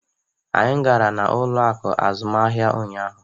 Anyị gara n'ụlọ akụ azụmaahịa ụnyaahụ.